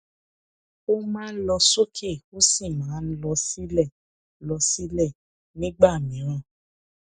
ó máa ń lọ sókè ó sì máa ń lọ sílẹ lọ sílẹ nìgbà mìíràn